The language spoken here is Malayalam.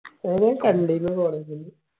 ഓന ഞാന് കണ്ടിന് തോന്നണ്